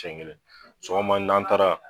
Siɲɛ kelen sɔgɔma n'an taara